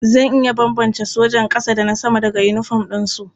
Zan iya bambance sojan ƙasa da na sama daga yinifom ɗinsu.